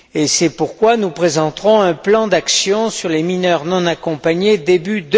C'est pourquoi nous présenterons un plan d'action sur les mineurs non accompagnés début